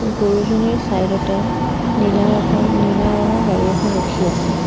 গৰুজনীৰ চাইড অতে নীলা এখন নীলা ৰঙৰ গাড়ী এখন ৰখি আছে।